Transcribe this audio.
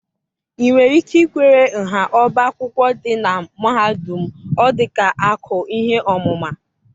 ị nwere ike ikwere nha ọbá akwụkwọ dị na mahadum m? Ọ dị ka akụ ihe ọmụma.